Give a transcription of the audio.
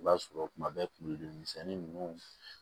I b'a sɔrɔ kuma bɛɛ kurudi misɛnni ninnu